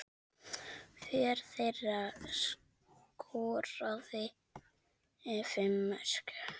Hver þeirra skoraði fimm mörk.